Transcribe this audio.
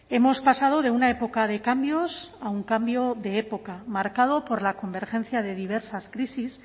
hemos pasado de una época de cambios a un cambio de época marcado por la convergencia de diversas crisis